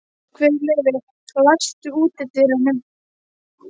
Guðleifur, læstu útidyrunum.